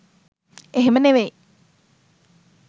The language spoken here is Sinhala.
එහෙම නෙවෙයි.